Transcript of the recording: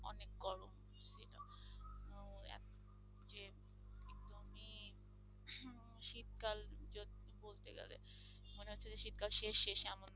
মনে হচ্ছে যে শীতকাল শেষ শেষ এমন